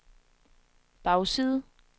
bagside